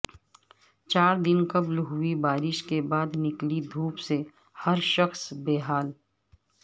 چاردن قبل ہوئی بارش کے بعد نکلی دھوپ سے ہرشخص بے حال